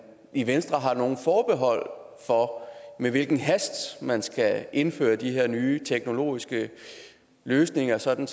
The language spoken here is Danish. i venstre har nogen forbehold for med hvilken hast man skal indføre de her nye teknologiske løsninger sådan